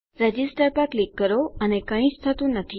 register પર click કરો અને કઈ જ થતું નથી